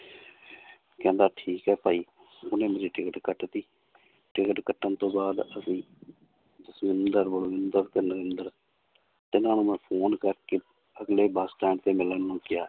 ਕਹਿੰਦਾ ਠੀਕ ਹੈ ਭਾਈ ਉਹਨੇ ਮੇਰੀ ਟਿਕਟ ਕੱਟ ਦਿੱਤੀ ਟਿਕਟ ਕੱਟਣ ਤੋਂ ਬਾਅਦ ਅਸੀਂ ਤਿੰਨਾਂ ਨੂੰ ਮੈਂ phone ਕਰਕੇ ਅਗਲੇ ਬਸ ਸਟੈਂਡ ਤੇ ਮਿਲਣ ਨੂੰ ਕਿਹਾ